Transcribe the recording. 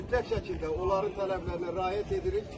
Mütləq şəkildə onların tələblərinə riayət edirik.